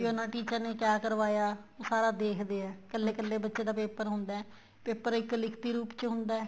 teacher ਨੇ ਕਿਹਾ ਕਰਵਾਇਆ ਉਹ ਸਾਰਾ ਦੇਖਦੇ ਹੈ ਇੱਕਲੇ ਇੱਕਲੇ ਬੱਚੇ paper ਹੁੰਦਾ ਹੈ paper ਇੱਕ ਲਿਖਤੀ ਰੂਪ ਵਿੱਚ ਹੁੰਦਾ ਹੈ